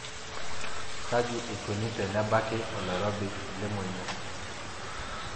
Kaji eikoni tenebaki oloirobi lemonyua?